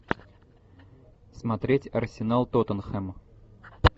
смотреть арсенал тоттенхэм